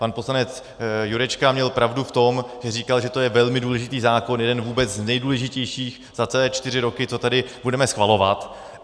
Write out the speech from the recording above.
Pan poslanec Jurečka měl pravdu v tom, že říkal, že to je velmi důležitý zákon, jeden vůbec z nejdůležitějších za celé čtyři roky, co tady budeme schvalovat.